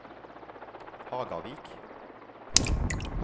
Hagavik